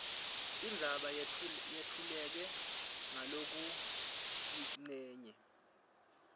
indzaba letfuleke ngalokuyincenye